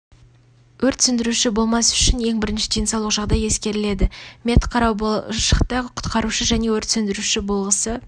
өрт сөндіруші болмас үшін ең бірінші денсаулық жағдай ескеріледі медқарау болашақта құтқарушы және өрт сөндіруші болғысы